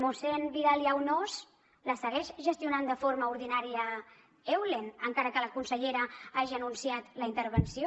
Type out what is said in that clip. mossèn vidal i aunós la segueix gestionant de forma ordinària eulen encara que la consellera hagi anunciat la intervenció